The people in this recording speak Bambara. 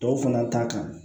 Dɔw fana ta kan